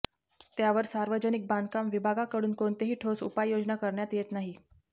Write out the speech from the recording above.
त्यावर सार्वजनिक बांधकाम विभागाकडून कोणतीही ठोस उपाययोजना करण्यात येत नाही